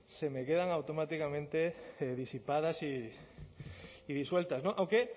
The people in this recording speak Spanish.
se me quedan automáticamente disipadas y disueltas aunque